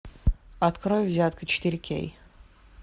открой взятка четыре кей